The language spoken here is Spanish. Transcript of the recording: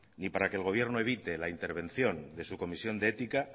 ni para que el gobierno evite la intervención de su comisión de ética